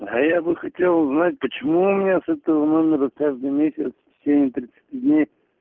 а я бы хотел узнать почему у меня с этого номера каждый месяц в течении тридцати дней